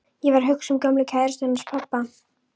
Ég var að hugsa um gömlu kærustuna hans pabba.